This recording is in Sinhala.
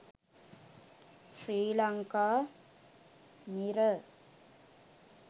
sri lanka mirror